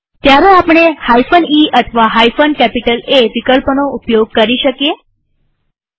ત્યારે આપણે e અથવા A વિકલ્પોનો ઉપયોગ કરી શકીએ છીએ